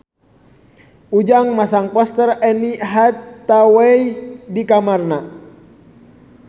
Ujang masang poster Anne Hathaway di kamarna